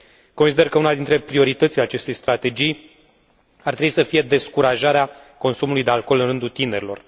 Consider că una dintre prioritățile acestei strategii ar trebui să fie descurajarea consumului de alcool în rândul tinerilor.